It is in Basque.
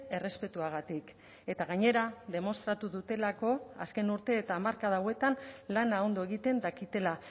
errespetuagatik eta gainera demostratu dutelako azken urte eta hamarkada hauetan lana ondo egiten dakitela